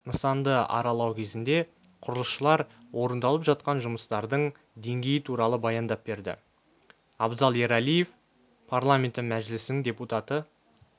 нысанды аралау кезінде құрылысшылар орындалып жатқан жұмыстардың деңгейі туралы баяндап берді абзал ералиев парламенті мәжілісінің депутаты